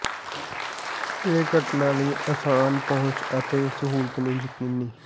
ਇਹ ਘਟਨਾ ਲਈ ਆਸਾਨ ਪਹੁੰਚ ਅਤੇ ਸਹੂਲਤ ਨੂੰ ਯਕੀਨੀ